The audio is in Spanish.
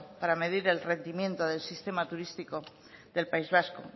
para medir el rendimiento del sistema turístico del país vasco